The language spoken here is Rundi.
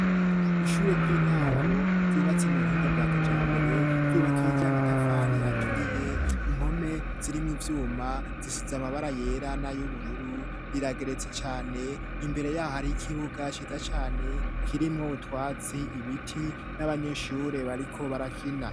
Ishure ry'intango ryubatse mu buhinga bwa kija mbere ryubakirya amatafali aturiye impome zirimo ibyuma zisize amabara yera na y'ubururu rirageretse cyane imbere y'ahari y'ikibuga shiza cyane kirimw obutwatsi ibiti n'abanyeshure bariko barakina.